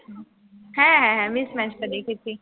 হ্যাঁ হ্যাঁ হ্যাঁ mismatched দেখেছি।